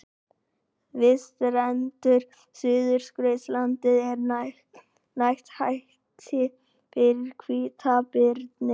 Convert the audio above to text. Við strendur Suðurskautslandsins er nægt æti fyrir hvítabirni.